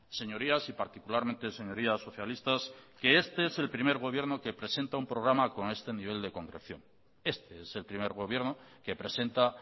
señorías y particularmente señorías socialistas que este es el primer gobierno que presenta un programa con este nivel de concreción este es el primer gobierno que presenta